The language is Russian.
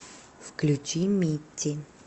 включи митти